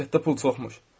Məmləkətdə pul çoxmuş.